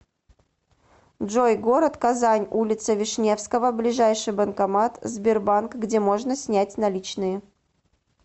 джой город казань улица вишневского ближайший банкомат сбербанк где можно снять наличные